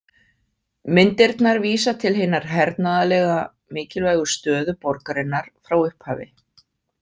Myndirnar vísa til hinnar hernaðarlega mikilvægu stöðu borgarinnar frá upphafi.